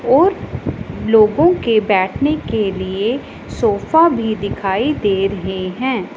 और लोगों के बैठने के लिए सोफा भी दिखाई दे रहे हैं।